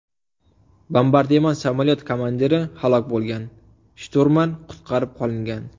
Bombardimon samolyot komandiri halok bo‘lgan, shturman qutqarib qolingan.